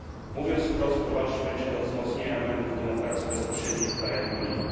Mówiąc wprost, prowadzić będzie do wzmocnienia elementów demokracji bezpośredniej w krajach Unii.